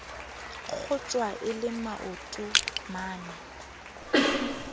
kgotjwa e le maoto mane